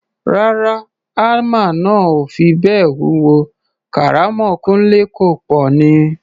Rárá, hámà náà ò fi bẹ́ẹ̀ wúwo, kàrámọ̀ Kúńlé kọ̀ pọ̀ ni.